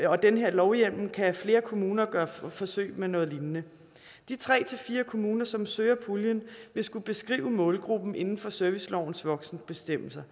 og den her lovhjemmel kan flere kommuner gøre forsøg med noget lignende de tre fire kommuner som søger puljen vil skulle beskrive målgruppen inden for servicelovens voksenbestemmelser